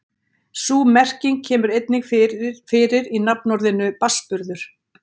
Sú merking kemur einnig fyrir í nafnorðinu barnsburður.